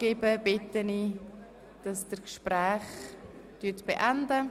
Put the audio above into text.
Ich bitte Sie, Ihre Gespräche nun zu beenden.